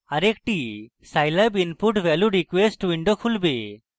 আরেকটি scilab input value request window খুলবে